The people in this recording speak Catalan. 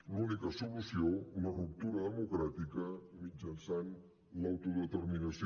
l’única solució la ruptura democràtica mitjançant l’autodeterminació